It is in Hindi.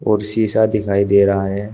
और शीशा दिखाई दे रहा है।